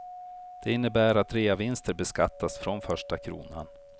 Det innebär att reavinster beskattas från första kronan.